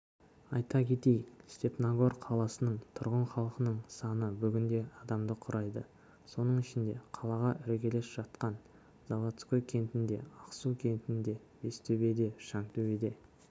айта кетейік степногор қаласының тұрғын халқының саны бүгінде адамды құрайды соның ішінде қалаға іргелес жатқан заводской кентінде ақсу кентінде бестөбеде шаңтөбеде